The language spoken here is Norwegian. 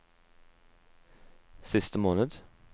siste måned